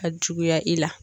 A juguya i la..